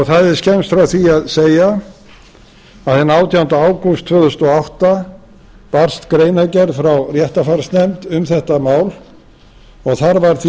það er skemmst frá því að segja að hinn átjánda ágúst tvö þúsund og átta barst greinargerð frá réttarfarsnefnd um þetta mál og þar var því